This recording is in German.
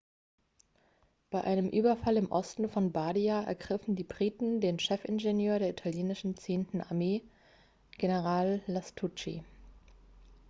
bei einem überfall im osten von bardia ergriffen die briten den chefingenieur der italienischen zehnten armee general lastucci